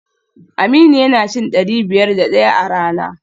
Aminu yana cin dari biyar da daya a rana